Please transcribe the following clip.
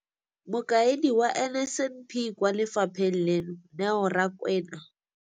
Mokaedi wa NSNP kwa lefapheng leno, Neo Rakwena,